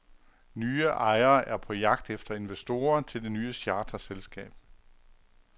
Nye ejere er på jagt efter investorer til det nye charterselskab.